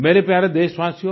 मेरे प्यारे देशवासियो